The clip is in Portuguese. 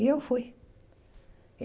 E eu fui.